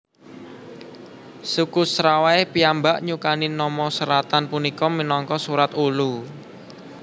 Suku Serawai piyambak nyukani nama seratan punika minangka Surat Ulu